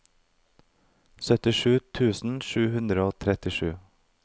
syttisju tusen sju hundre og trettisju